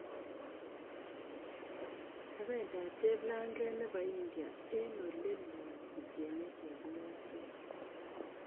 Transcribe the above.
Kabendat cheplanget nebo india eng ole loo kochengee chepyoset